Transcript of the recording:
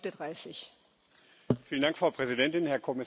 Frau Präsidentin, Herr Kommissar, liebe Kolleginnen und Kollegen!